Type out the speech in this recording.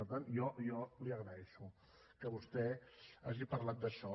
per tant jo li agraeixo que vostè hagi parlat d’això